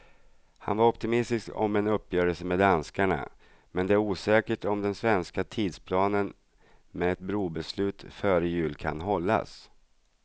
Han var optimistisk om en uppgörelse med danskarna, men det är osäkert om den svenska tidsplanen med ett brobeslut före jul kan hållas.